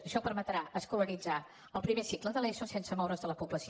això permetrà escolaritzar el primer cicle de l’eso sense moure’s de la població